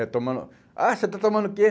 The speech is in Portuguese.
É tomando... Ah, você está tomando o quê?